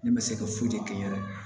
Ne bɛ se ka foyi de kɛ n yɛrɛ ye